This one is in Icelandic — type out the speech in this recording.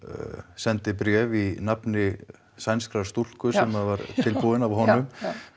sendi bréf í nafni sænskrar stúlku sem var tilbúin af honum